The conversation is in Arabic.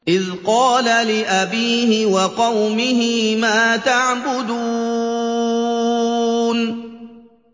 إِذْ قَالَ لِأَبِيهِ وَقَوْمِهِ مَا تَعْبُدُونَ